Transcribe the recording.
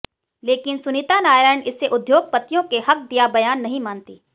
लेकिन सुनीता नारायण इसे उद्योगपतियों के हक दिया बयान नहीं मानतीं